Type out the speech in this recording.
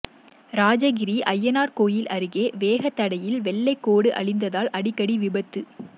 ராஜகிரி அய்யனார் கோயில் அருகே வேகத்தடையில் வெள்ளை கோடு அழிந்ததால் அடிக்கடி விபத்து